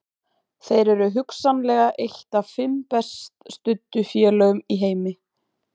Þeir eru hugsanlega eitt af fimm best studdu félögum í heimi.